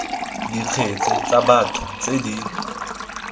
dikgetse tsa batho tse di